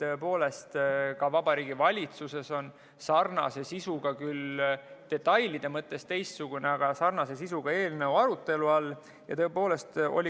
Tõepoolest, ka Vabariigi Valitsuses on sarnase sisuga – küll detailide mõttes teistsugune, aga sarnase sisuga – eelnõu arutelu all.